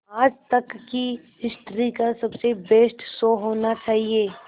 आज तक की हिस्ट्री का सबसे बेस्ट शो होना चाहिए